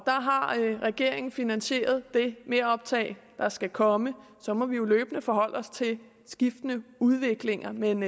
har regeringen finansieret det meroptag der skal komme og så må vi jo løbende forholde os til skiftende udviklinger men